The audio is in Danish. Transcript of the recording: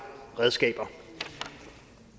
redskaber